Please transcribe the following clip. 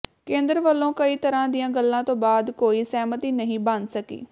ਕੇਂਦਰ ਵੱਲੋ ਕਈ ਤਰ੍ਹਾਂ ਦੀਆਂ ਗੱਲਾਂ ਤੋਂ ਬਾਅਦ ਕੋਈ ਸਹਿਮਤੀ ਨਹੀਂ ਬਣ ਸਕੀ